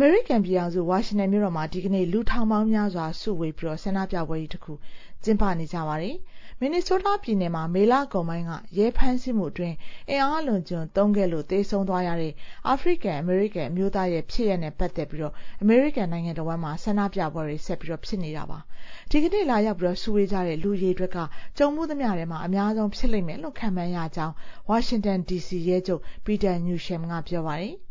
မေရိကန်ပြည်ထောင်စု ဝါရှင်တန်မြို့တော်မှာ ဒီကနေ့ လူထောင်ပေါင်းများစွာ စုဝေးပြီး ဆန္ဒပြပွဲကြီးတခု ကျင်းပကြမှာ ဖြစ်ပါတယ်။ မင်နီဆိုးတားပြည်နယ်မှာ မေကကုန်ပိုင်းက ရဲဖမ်းဆီးမှုအတွင်း အင်အားအလွန်အကျွံသုံးခဲ့လို့ သေဆုံးသွားရတဲ့ အာဖရိကန်-အမေရိကန် အမျိုးသားရဲ့ ဖြစ်ရပ်နဲ့ ပတ်သက်ပြီး အမေရိကန်နိုင်ငံတဝန်းမှာ ဆန္ဒပြပွဲတွေ ဆက်ဖြစ်နေတာပါ။ ဒီကနေ့ လာရောက်စုဝေးကြမယ့် လူအရေအတွက်က ကြုံဖူးသမျှထဲမှာ အများဆုံး ဖြစ်လိမ့်မယ်လို့ ခန့်မှန်းရကြောင်း ဝါရှင်တန်ဒီစီ ရဲချုပ် Peter Newsham က ပြောပါတယ်။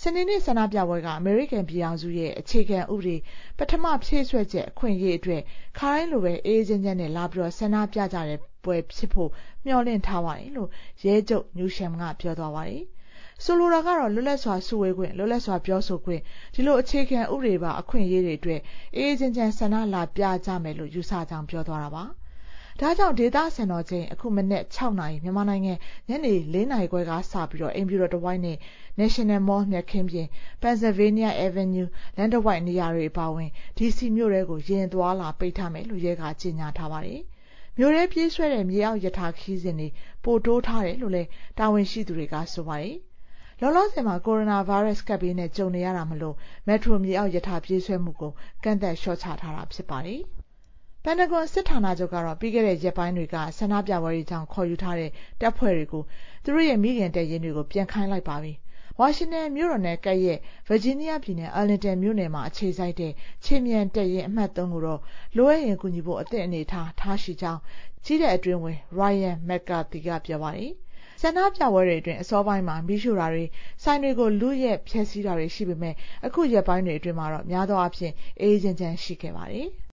“စနေနေ့ ဆန္ဒပြပွဲက အမေရိကန်ပြည်ထောင်စုရဲ့ အခြေခံဥပဒေ ပထမ ဖြည့်စွက်ချက် အခွင့်အရေးအတွက် ခါတိုင်းလိုပဲ အေးအေးချမ်းချမ်း လာဆန္ဒပြကြတဲ့ပွဲဖြစ်ဖို့ မျှော်လင့်ထားပါတယ်" လို့ ရဲချုပ် Newsham က ပြောပါတယ်။ ဆိုလိုတာက လွတ်လပ်စွာစုဝေးခွင့်၊ လွတ်လပ်စွာပြောဆိုခွင့် ဒီလို အခြေခံဥပဒေပါ အခွင့်အရေးတွေအတွက် အေးအေးချမ်းချမ်း ဆန္ဒလာပြကြမယ်လို့ ယူဆကြောင်း ပြောသွားတာပါ။ ဒါ့ကြောင့် ဒေသစံတော်ချိန် အခု မနက် ၆ နာရီ (မြန်မာနိုင်ငံ ညနေ ၄ နာရီခွဲ) က စပြီး အိမ်ဖြူတော်တဝိုက်နဲ့ National Mall မြက်ခင်းပြင်၊ Pennsylvania Avenue လမ်းတဝိုက် နေရာတွေ အပါအဝင် ဒီစီမြို့ထဲကို ယာဉ်အသွားအလာ ပိတ်ထားမယ်လို့ ရဲက ကြေညာထားပါတယ်။ မြို့ထဲပြေးဆွဲတဲ့ မြေအောက်ရထား ခရီးစဉ်တွေ ပိုတိုးထားတယ်လို့လည်း တာဝန်ရှိသူတွေက ဆိုပါတယ်။ လောလောဆယ်မှာက ကိုရိုနာဗိုင်းရပ်စ် ကပ်ဘေးနဲ့ ကြုံနေရတာမို့ Metro မြေအောက်ရထား ပြေးဆွဲမှုကို ကန့်သတ်လျှော့ချထားတာ ဖြစ်ပါတယ်။ ပင်တဂွန်စစ်ဌာနချုပ်ကတော့ ပြီးခဲ့တဲ့ရက်ပိုင်းတွေက ဆန္ဒပြပွဲတွေကြောင့် ခေါ်ယူထားတဲ့ တပ်ဖွဲ့တွေကို သူတို့ရဲ့ မိခင်တပ်ရင်းတွေကို ပြန်ခိုင်းလိုက်ပါပြီ။ ဝါရှင်တန်မြို့တော်နဲ့ ကပ်လျက် ဗာဂျီးနီးယားပြည်နယ်၊ Arlington မြို့နယ်မှာ အခြေစိုက်တဲ့ ခြေမြန်တပ်ရင်း အမှတ် ၃ ကိုတော့ လိုအပ်ရင် ကူညီဖို့ အသင့်အနေအထားမှာ ထားရှိကြောင်း ကြည်းတပ်အတွင်းဝန် Ryan McCarthy က ပြောပါတယ်။ ဆန္ဒပြပွဲတွေအတွင်း အစောပိုင်းမှာ မီးရှို့တာတွေ၊ ဆိုင်တွေကို ဖျက်ဆီး လုယက်တာတွေ ရှိခဲ့ပေမယ့် အခုရက်ပိုင်းတွေ အတွင်းမှာတော့ များသောအားဖြင့် အေးအေးချမ်းချမ်း ရှိခဲ့ပါတယ်။